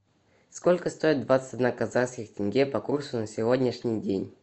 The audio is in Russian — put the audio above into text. сколько стоит двадцать одна казахских тенге по курсу на сегодняшний день